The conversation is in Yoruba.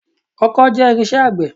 Ọkọ́ jẹ́ irinṣẹ́ àgbẹ̀.